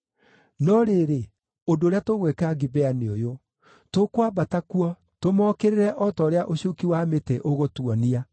No rĩrĩ, ũndũ ũrĩa tũgwĩka Gibea nĩ ũyũ: Tũkwambata kuo tũmookĩrĩre o ta ũrĩa ũcuuki wa mĩtĩ ũgũtuonia.